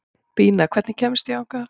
Bína, hvernig kemst ég þangað?